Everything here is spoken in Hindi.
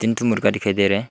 दो मुर्गा दिखाई दे रहा है।